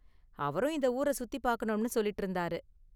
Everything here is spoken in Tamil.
அவரும் இந்த ஊர சுத்தி பார்க்கணும்னு சொல்லிட்டு இருந்தாரு.